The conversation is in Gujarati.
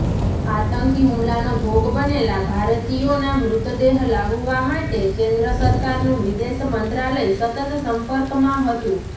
આતંકી હુમલાનો ભોગ બનેલા ભારતીયોના મૃતદેહ લાવવા માટે કેન્દ્ર સરકારનું વિદેશ મંત્રાલય સતત સંપર્કમાં હતુ